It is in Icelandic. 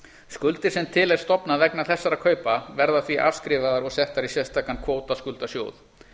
skuldir sem til er stofnað vegna þessara kaupa verða því afskrifaðar og settar í sérstakan kvótaskuldasjóð